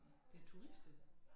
Det turister